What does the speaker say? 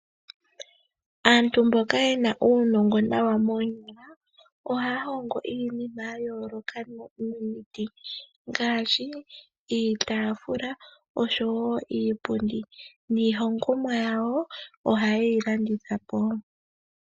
Aantu mboka yena uunongo nawa moonyala, ohaya hongo iinima ya yooloka nomiti ngaashi, iitafula oshowo iipundi. Niihongomwa yawo oha yeyi landitha po.